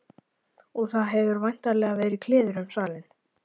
Og það hefur væntanlega farið kliður um salinn.